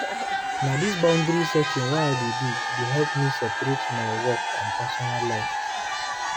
Na dis boundary setting wey I dey do dey help me separate my work and personal life.